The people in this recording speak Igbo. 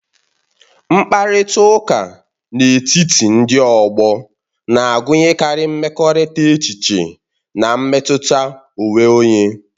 Mkparịta ụka n'etiti ndị ọgbọ na-agụnyekarị ịkekọrịta echiche na mmetụta onwe onye.